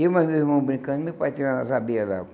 Eu mais meu irmão brincando e meu pai tirando as abelhas lá.